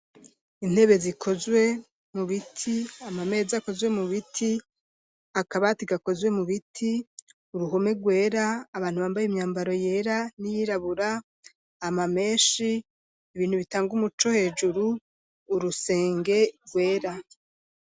Intebe zikozwe mu biti, ama meza akozwe mu biti ,akabati gakozwe mu biti ,uruhome rwera ,abantu bambaye imyambaro yera n'iyirabura ,ama menshi ibintu bitanga umuco hejuru urusenge rwera.